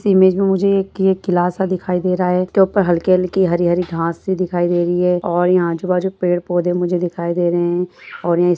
इस इमेज में मुझे ये एक किला सा दिखाई दे रहा है इनके ऊपर हलके-हलके हरी-हरी घासें से दिखाई दे रही है और यहां आजू-बाजू पेड़-पौधे मुझे दिखाई दे रहे हैं और इस --